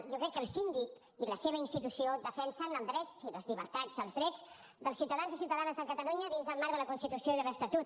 jo crec que el síndic i la seva institució defensen el dret i les llibertats els drets dels ciutadans i ciutadanes de catalunya dins el marc de la constitució i de l’estatut